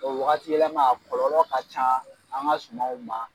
Waatiyɛlɛma a kɔlɔlɔ ka ca an ka sumaw